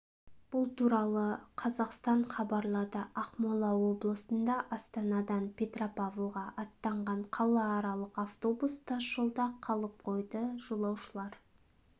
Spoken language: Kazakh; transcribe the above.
бұл туралы қазақстан хабарлады ақмола облысында астанадан петропавлға аттанған қалааралық автобус тас жолда қалып қойды жолаушылар